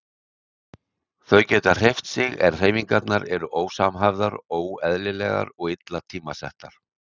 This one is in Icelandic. Þau geta hreyft sig en hreyfingarnar eru ósamhæfðar, óeðlilegar og illa tímasettar.